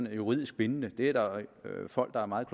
er juridisk bindende det er der folk der er meget